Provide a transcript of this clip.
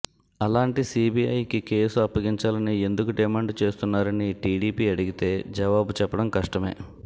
అలాంటి సీబీఐకి కేసు అప్పగించాలని ఎందుకు డిమాండ్ చేస్తున్నారని టీడీపీ అడిగితే జవాబు చెప్పడం కష్టమే